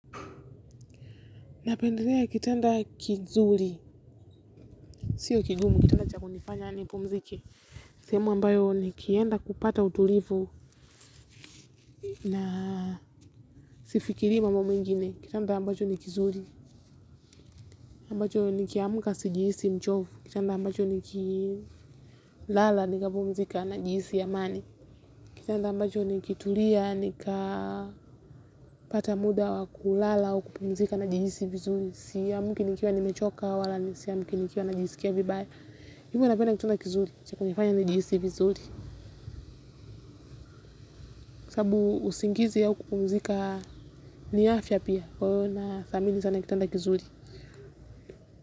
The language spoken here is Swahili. Napendelea kitanda kizuri, siyo kigumu, kitanda cha kunifanya nipumzike. Sehemu ambayo nikienda kupata utulivu na sifikirii mambo mengine. Kitanda ambacho ni kizuri, ambacho nikiamka sijihisi mchovu. Kitanda ambacho nikilala nikapumzika najihisi amani. Kitanda ambacho nikitulia, nikapata muda wa kulala au kupumzika najihisi vizuri siamki nikiwa nimechoka wala siamki nikiwa najihisi vibaya. Hivyo napenda kitanda kizuri, cha kunifanya nijisi vizuri. Kwa sababu usingizi au kupumzika ni afya pia. Kwa hivyo nadhamini sana kitanda kizuri.